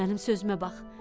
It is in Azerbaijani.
Gəl sən mənim sözümə bax.